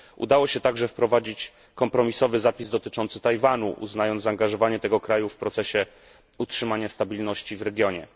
Udało się także wprowadzić kompromisowy zapis dotyczący Tajwanu, uznając zaangażowanie tego kraju w procesie utrzymania stabilności w regionie.